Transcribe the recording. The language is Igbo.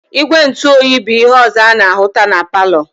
Igwe ntu oyi bu ihe ọzọ ana-ahụta na palọ.